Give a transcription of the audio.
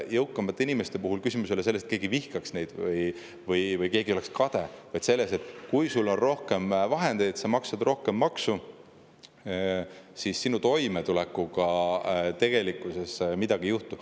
Jõukamate inimeste puhul ei ole küsimus selles, et keegi vihkaks neid või keegi oleks nende peale kade, vaid selles, et kui sul on rohkem vahendeid ja sa maksad rohkem maksu, siis sinu toimetulekuga tegelikkuses midagi ei juhtu.